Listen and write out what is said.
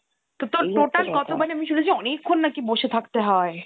তো তোর total কত মানে আমি শুনেছি অনেকক্ষণ নাকি বসে থাকতে হয়।